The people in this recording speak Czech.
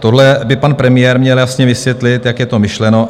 Tohle by pan premiér měl jasně vysvětlit, jak je to myšleno.